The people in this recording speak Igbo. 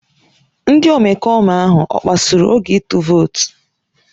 Ndị omekome ahụ ọ kpasuru oge ịtụ vootu?